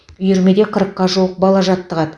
үйірмеде қырыққа жуық бала жаттығады